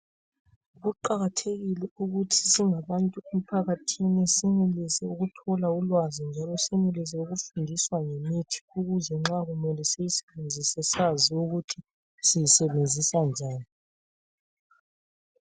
Kuqakathekile ukuthi singabantu emphakathini senelise ukuthola ulwazi njalo senelise ukufundiswa ngemithi ukuze nxa kumele siyisebenzise sazi ukuthi siyisebenzisa njani.